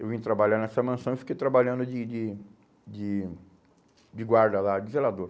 Eu vim trabalhar nessa mansão e fiquei trabalhando de de de de guarda lá, de zelador.